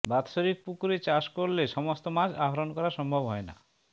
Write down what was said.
বাৎসরিক পুকুরে চাষ করলে সমস্ত মাছ আহরণ করা সম্ভব হয় না